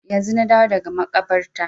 Yanzu na dawo daga makabarta